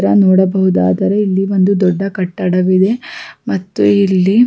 ರ ನೋಡಬಹುದಾದರೆ ಇಲ್ಲಿ ಒಂದು ದೊಡ್ಡ ಕಟ್ಟಡವಿದೆ ಮತ್ತು ಇಲ್ಲಿ --